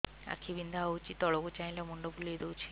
ଆଖି ବିନ୍ଧା ହଉଚି ତଳକୁ ଚାହିଁଲେ ମୁଣ୍ଡ ବୁଲେଇ ଦଉଛି